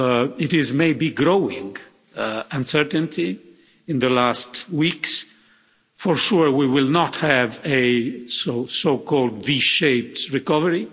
It is may be growing uncertainty in the last weeks, for sure we will not have a so called V shaped recovery.